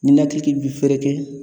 Ninakili ki bi fɛɛrɛke